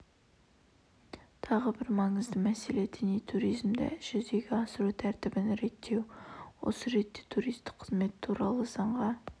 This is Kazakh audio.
тағы бір маңызды мәселе діни туризмді жүзеге асыру тәртібін реттеу осы ретте туристік қызмет туралы заңға